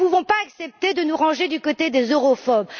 Nous ne pouvons pas accepter de nous ranger du côté des europhobes.